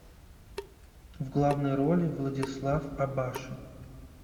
в главной роли владислав абашин